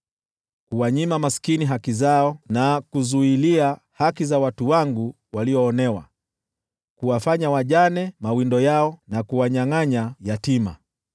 kuwanyima maskini haki zao na kuzuilia haki za watu wangu walioonewa, kuwafanya wajane mawindo yao na kuwanyangʼanya yatima.